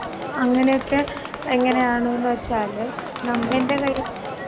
ഉം അങ്ങനെയൊക്കെ എങ്ങനെയാണൂന്ന് വെച്ചാല് നമ്മന്റെ കൈ